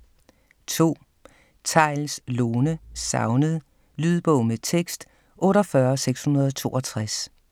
2. Theils, Lone: Savnet Lydbog med tekst 48662